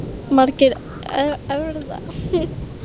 Margir erfðafræðingar létu sér þó í fyrstu fátt um finnast.